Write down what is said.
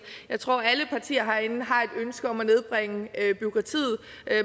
jeg tror alle partier herinde har et ønske om at nedbringe bureaukratiet